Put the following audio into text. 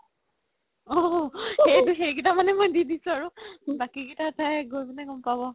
সেই কেইটা মানে মই দি দিছো আৰু বাকি কেইটা চাই গৈ কিনে গ'ম পাব